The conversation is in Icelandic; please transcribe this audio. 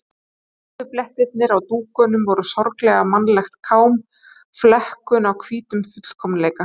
Kaffiblettirnir á dúknum voru sorglega mannlegt kám, flekkun á hvítum fullkomleika.